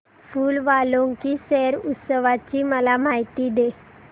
फूल वालों की सैर उत्सवाची मला माहिती दे